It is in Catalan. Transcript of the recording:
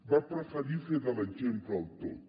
va preferir fer de l’exemple el tot